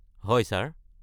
হয় ছাৰ।